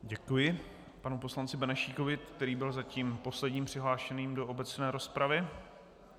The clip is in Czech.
Děkuji panu poslanci Benešíkovi, který byl zatím posledním přihlášeným do obecné rozpravy.